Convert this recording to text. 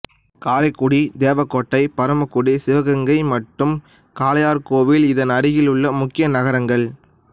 காரைக்குடிதேவகோட்டை பரமக்குடி சிவகங்கை மற்றும் காளையார்கோவில் இதன் அருகில் உள்ள முக்கிய நகரங்கள்